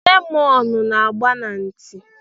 Lemọnụ na agba aka ntị.